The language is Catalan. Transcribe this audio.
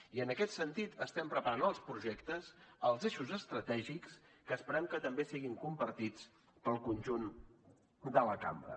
i en aquest sentit estem preparant els projectes els eixos estratègics que esperem que també siguin compartits pel conjunt de la cambra